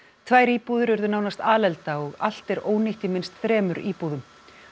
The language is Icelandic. tvær íbúðir urðu nánast alelda og allt er ónýtt í minnst þremur íbúðum